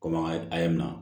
Komi an ka a ye na